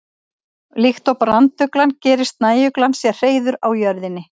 Líkt og branduglan gerir snæuglan sér hreiður á jörðinni.